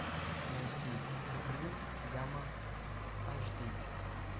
найти куприн яма аш ди